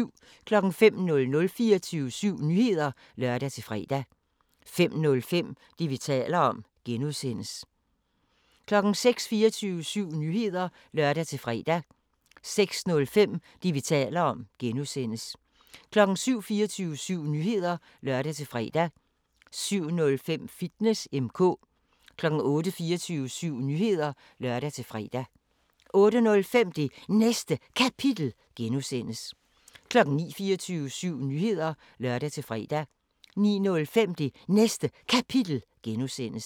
05:00: 24syv Nyheder (lør-fre) 05:05: Det, vi taler om (G) 06:00: 24syv Nyheder (lør-fre) 06:05: Det, vi taler om (G) 07:00: 24syv Nyheder (lør-fre) 07:05: Fitness M/K 08:00: 24syv Nyheder (lør-fre) 08:05: Det Næste Kapitel (G) 09:00: 24syv Nyheder (lør-fre) 09:05: Det Næste Kapitel (G)